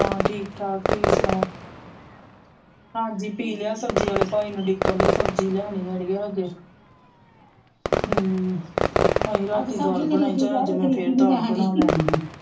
ਹਾਂ ਠੀਕ ਠਾਕ ਤੁਸੀਂ ਸੁਣਾਓ ਹਾਂਜੀ ਪੀ ਲਿਆ ਸੱਬਜੀ ਆਲੇ ਭਾਈ ਨੂੰ ਢੀਕਣ ਦਿਹ ਸਬਜੀ ਲੈਣੀ ਅੜੀਏ ਹਜੇ ਅਹਿ ਰਾਤੀ ਦਾਲ ਬਣਾਈ ਚਾਹੇ ਅੱਜ ਮੈ ਫੇਰ ਦਾਲ ਬਣਾ ਲੈਣੀ ਸੀ।